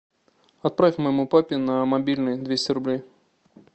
отправь моему папе на мобильный двести рублей